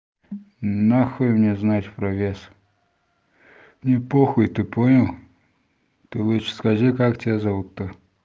нахуй мне знать про вес мне похуй ты понял ты лучше скажи как тебя зовут-то